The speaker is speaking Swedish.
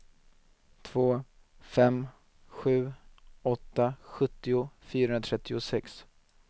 två fem sju åtta sjuttio fyrahundratrettiosex